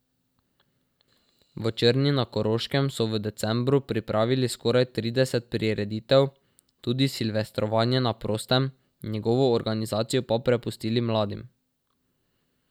V Črni na Koroškem so v decembru pripravili skoraj trideset prireditev, tudi silvestrovanje na prostem, njegovo organizacijo pa prepustili mladim.